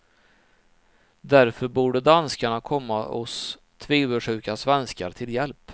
Därför borde danskarna komma oss tvivelsjuka svenskar till hjälp.